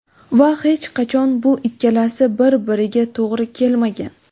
Va hech qachon bu ikkalasi bir biriga to‘g‘ri kelmagan.